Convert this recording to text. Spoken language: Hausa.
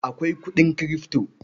Akwai kuɗin Kirifto.